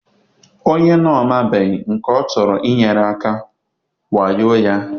onye ọ na-amabughị nke ọ chọrọ inyere aka wayo ya.